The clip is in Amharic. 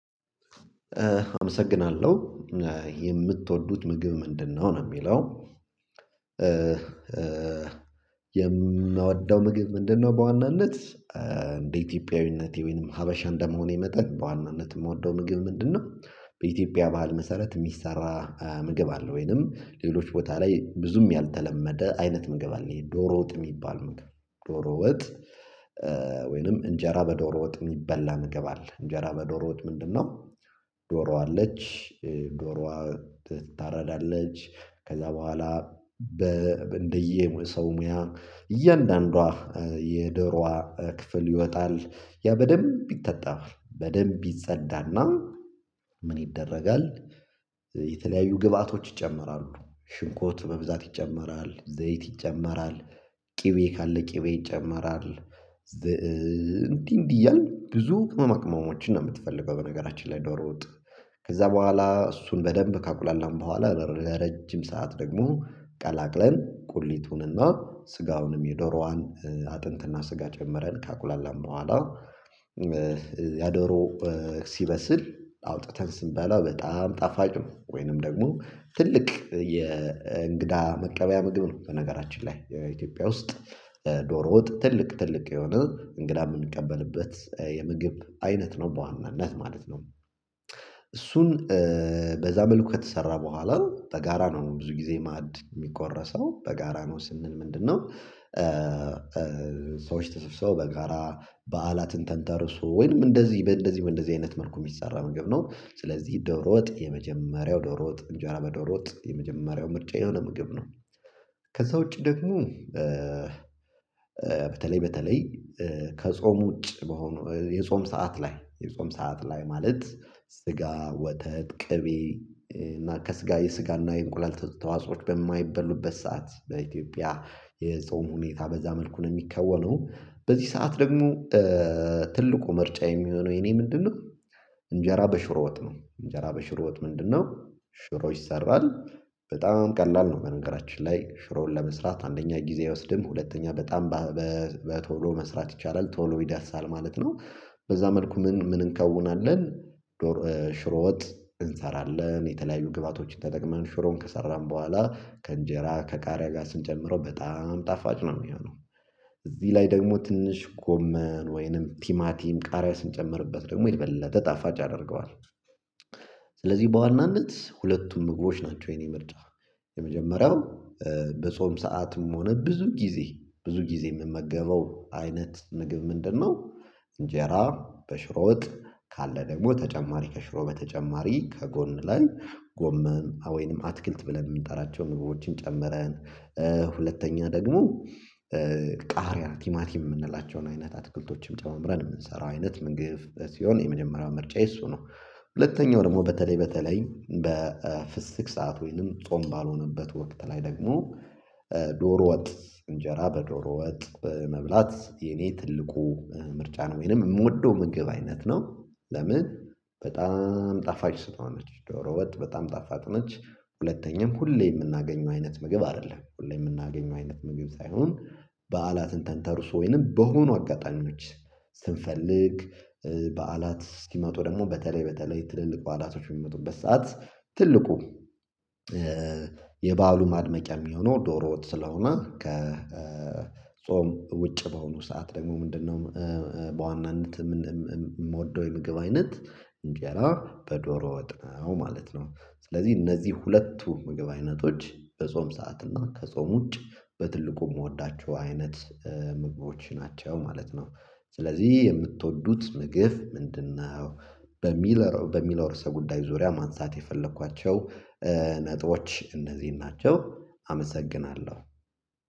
አመሰግናለሁ የምትወዱት ምግብ ምንድነው? ነው የሚለው የምወደው ምግብ ምንድነው በዋናነት እንደ ኢትዮጵያዊነት የወይንም ሀበሻ እንደመሆኔ መጠግ በዋናነት የምወደው ምግብ ምንድነው በኢትዮጵያ ባህል መሰረት የሚሰራ ምግብ አለ። ወይንም ሌሎች ቦታ ላይ ብዙም ያልተለመደ አይነት ምግብ አለ ይሄ ዶሮ ወጥ የሚባል ምግብ ዶሮ ወጥ ወይንም እንጀራ በዶሮ ወጥ የሚበላ ምግብ አለ። እንጀራ በዶሮዎች ምንድነው ዶሮ አለች ዶሮዋ ትታረዳለች። ከዛ በኋላ በ እንደየ ሰው ሙያ እያንዳንዷ የዶሯ ክፍል ይወጣል። ያ በደንብ ይታጠባል በደንብ ይጸዳና ምን ይደረጋል የተለያዩ ግብአቶች ይጨምራሉ። ሽንኩርት በብዛት ይጨምራል፣ ዘይት ይጨምራል፣ ቅቤ ካለ ቅቤ ይጨመራል፣ እንዲህ እንዲህ እያልን ብዙ ቅመማ ቅመሞችን ነው የምትፈልገው በነገራችን ላይ ዶሮ ወጥ። ከዛ በኋላ እሱን በደንብ ካቁላላን በኋላ ለረጅም ሰዓት ደግሞ ቀላቅለን ቁሊቱንና ስጋውንም የዶሮዋን አጥንትና ስጋ ጨመረን ከአቁላላን በኋላ ያዶሮ ሲበስል አውጥተን ስንበላ በጣም ጣፋጭ ነው። ወይንም ደግሞ ትልቅ የእንግዳ መቀበያ ምግብ ነው በነገራችን ላይ የኢትዮጵያ ውስጥ ዶሮ ወጥ ትልቅ ትልቅ የሆነ እንግዳ የምንቀበልበት የምግብ አይነት ነው በዋናነት ማለት ነው። እሱን በዛ መልኩ ከተሰራ በኋላ በጋራ ነው ብዙ ጊዜ ማድ የሚቆረሰው። በጋራ ነው ስንል ምንድነው ሰዎች ተሰብስበው በጋራ በዓላትን ተንተርሶ ወይንም እንደዚህ በእንደዚህ እንደዚህ አይነት መልኩ የሚሰራ ምግብ ነው። ስለዚህ ዶሮ ወጥ የመጀመሪያው ዶሮ ወጥ እንጃራ በዶሮ ወጥ የመጀመሪያው ምርጫየ የሆነ ምግብ ነው። ከዛ ውጪ ደግሞ በተለይ በተለይ ከጾም ውጪ በሆነ የጾም ሰዓት ላይ የጾም ሰዓት ላይ ማለት ስጋ ወተት ቅቤ እና ከስጋ የስጋና የእንቁላል ተዋጾዎች በማይበሉበት ሰዓት በኢትዮጵያ የጾም ሁኔታ በዛ መልኩ ነው የሚከወነው። በዚህ ሰዓት ደግሞ ትልቁ ምርጫየ የሚሆነው የኔ ምንድነው እንጀራ በሽሮ ወጥ ነው። እንጀራ በሽሮ ወጥ ምንድነው ሽሮ ይሰራል በጣም ቀላል ነው። በነገራችን ላይ ሽሮውን ለመስራት፣ አንደኛ ጊዜ አይወስድም፣ ሁለተኛ በጣም በቶሎ መስራት ይቻላል፣ ቶሎ ይዳሳል ማለት ነው። በዛ መልኩ ምን ምን እንከውናለን ዶሮ ሽሮ ወጥ እንሰራለን። የተለያዩ ግብአቶችን ተጠቅመን ሽሮን ከሰራን በኋላ ከእንጀራ ከቃሪያ ጋር ስንጨምረው በጣም ጣፋጭ ነው የሚሆነው። እዚህ ላይ ደግሞ ትንሽ ጎመን ወይንም ቲማቲም ቃሪያ ስንጨምርበት ደግሞ የበልጠ ተጣፋጭ ያደርገዋል ያደርገዋል። ስለዚህ በዋናነት ሁለቱም ምግቦች ናቸው የኔ ምርጫ። የመጀመሪያው በጾም ሰዓትም ሆነ ብዙ ጊዜ ብዙ ጊዜ የምመገበው አይነት ምግብ ምንድነው እንጀራ በሽሮ ወጥ። ካለ ደግሞ ተጨማሪ ከሽሮ በተጨማሪ ከጎን ላይ ጎመም ወይንም አትክልት ብለን የምንጠራቸው ምግቦችን ጨምረን ሁለተኛ ደግሞ ቃሪያ ቲማቲም የምንላቸውን አይነት አትክልቶችም ጨመምረን የምንሰራው አይነት ምንግብ ሲሆን የመጀመሪያው ምርጫዬ እሱ ነው። ሁለተኛው ደግሞ በተለይ በተለይ በፍስክ ሰዓት ወይንም ጾም ባልሆነበት ወቅት ላይ ደግሞ ዶሮ ወጥ እንጀራ በዶሮ ወጥ መብላት የኔ ትልቁ ምርጫ ነው። ወይንም የምወደው ምግብ አይነት ነው። ለምን በጣም ጣፋጭ ስለሆነች። ዶሮ ወጥ በጣም ጣፋጭ ነች ሁለተኛም ሁሌ የምናገኘው አይነት ምግብ አይደለም ሁሌ የምናገኘው አይነት ምግብ ሳይሆን በዓላትን ተንተርሶ ወይንም በሆኑ አጋጣሚዎች ስንፈልግ በዓላት እስኪመጡ ደግሞ በተለይ በተለይ ትልልቅ በዓላቶች በሚመጡበት ሰዓት ትልቁ የበአሉ ማድመቂያ የሚሆነው ዶሮ ወጥ ስለሆነ ከጾም ውጭ በሆኑ ሰዓት ደግሞ ምንድነው በዋናነት እምወደው የምግብ አይነት እንጀራ በዶሮ ወጥ ነው ማለት ነው። ስለዚህ እነዚህ ሁለቱ ምግብ አይነቶች በጾም ሰዓት እና ከጾም ውጭ በትልቁ የምወዳቸው አይነት ምግቦች ናቸው ማለት ነው። ስለዚህ የምትወዱት ምግብ ምንድነው በሚለው በሚለው ርዕሰ ጉዳይ ዙሪያ ማንሳት የፈለኳቸ ነጥቦች እነዚህ ናቸው አመሰግናለሁ።